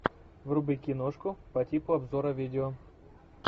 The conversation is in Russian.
вруби киношку по типу обзора видео